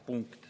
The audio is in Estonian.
Punkt.